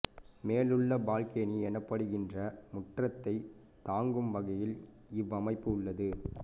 மேலுள்ள பால்கேனி எனப்படுகின்ற முற்றத்தைத் தாங்கும் வகையில் இவ்வமைப்பு உள்ளது